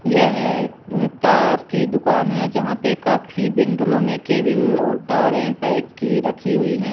यह तार की दुकान है जहां पर काफी बिंडलों में केबल और तारें पैक की रखी हुई है ।